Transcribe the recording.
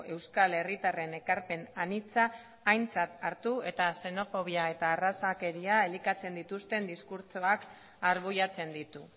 euskal herritarren ekarpen anitza aintzat hartu eta xenofobia eta arrazakeria elikatzen dituzten diskurtsoak arbuiatzen ditu